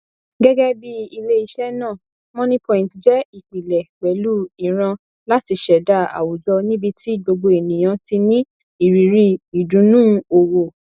gẹgẹbíi iléiṣẹ náà moniepoint jẹ ìpìlẹ pẹlú ìran láti ṣẹdá àwùjọ níbití gbogbo ènìyàn ti ní ìrírí ìdùnnú owó